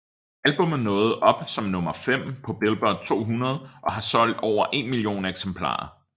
Albummet nåede op som nummer fem på Billboard 200 og har solgt over en million eksemplarer